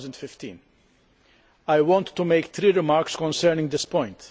2015. I want to make three remarks concerning this point.